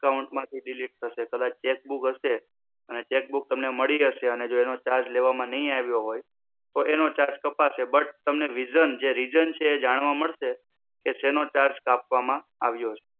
account માંથી delete થશે કચાચ cheque book હશે અને cheque book તમને મળી હશે અને જો એનો charge લેવામાં નઈ આવ્યો હોય તો એનો charge પશે but તમે reason જે reason એ જાણવા મળશે. કે સેનો charge કાપવામાં આવ્યો છે.